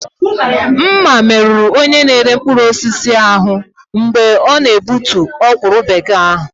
Mma merụrụ onye na-ere mkpụrụ osisi ahụ mgbe ọ na-egbutu ọkwụrụ bekee ahụ.